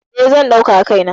E, zan ɗauka a kai na.